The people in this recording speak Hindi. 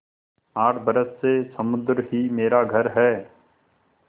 आठ बरस से समुद्र ही मेरा घर है